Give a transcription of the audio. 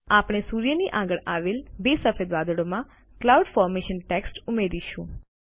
આપણે સૂર્યની આગળ આવેલ બે સફેદ વાદળોમાં ક્લાઉડ ફોર્મેશન ટેક્સ્ટ ઉમેરીશું